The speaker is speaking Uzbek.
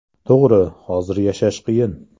To‘g‘ri, hozir yashash qiyin.